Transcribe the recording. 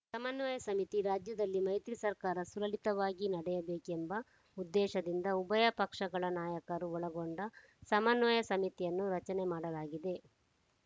ಸಮನ್ವಯ ಸಮಿತಿ ರಾಜ್ಯದಲ್ಲಿ ಮೈತ್ರಿ ಸರ್ಕಾರ ಸುಲಲಿತವಾಗಿ ನಡೆಯಬೇಕೆಂಬ ಉದ್ದೇಶದಿಂದ ಉಭಯ ಪಕ್ಷಗಳ ನಾಯಕರು ಒಳಗೊಂಡ ಸಮನ್ವಯ ಸಮಿತಿಯನ್ನು ರಚನೆ ಮಾಡಲಾಗಿದೆ